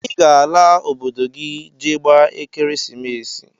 i ga ala obodo gi je gba ekeresimesi!!